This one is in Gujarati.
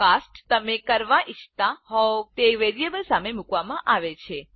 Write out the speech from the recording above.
આ કાસ્ટ તમે કરવા ઈચ્છતા હોવ તે વેરિયેબલ સામે મૂકવામાં આવે છે